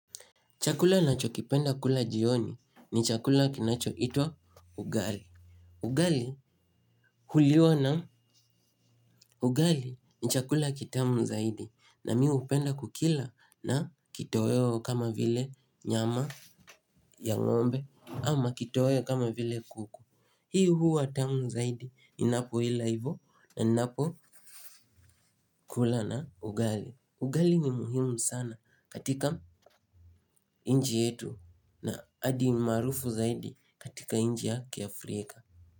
Chakula nachokipenda kula jioni ni chakula kinachoitwa ugali. Ugali huliwa na ugali ni chakula kitamu zaidi na mimi hupenda kukila na kitoweo kama vile nyama ya ng'ombe ama kitoweo kama vile kuku. Hii huwa tamu zaidi ninapoila hivo na ninapokula na ugali. Ugali ni muhimu sana katika nchi yetu na adi maarufu zaidi katika nchi ya kiAfrika.